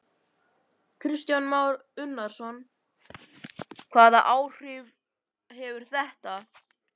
Kristján Már Unnarsson: Hvaða áhrif hefur þetta?